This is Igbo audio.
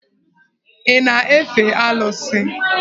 Ị na-efe Alụsị?